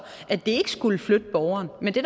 at det ikke skulle flytte borgeren men det